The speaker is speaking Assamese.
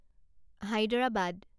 হায়দৰাবাদ